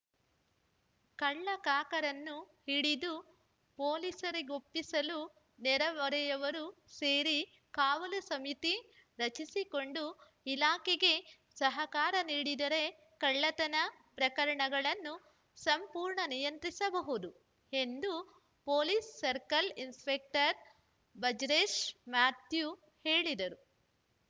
ಕಳ್ಳಕಾಕರನ್ನು ಹಿಡಿದು ಪೊಲೀಸರಿಗೊಪ್ಪಿಸಲು ನೆರೆಹೊರೆಯವರು ಸೇರಿ ಕಾವಲು ಸಮಿತಿ ರಚಿಸಿಕೊಂಡು ಇಲಾಖೆಗೆ ಸಹಕಾರ ನೀಡಿದರೆ ಕಳ್ಳತನ ಪ್ರಕರಣಗಳನ್ನು ಸಂಪೂರ್ಣ ನಿಯಂತ್ರಿಸಬಹುದು ಎಂದು ಪೊಲೀಸ್‌ ಸರ್ಕಲ್‌ ಇನ್ಸಪೆಕ್ಟರ್‌ ಬ್ರಜೇಶ್‌ಮ್ಯಾಥ್ಯೂ ಹೇಳಿದರು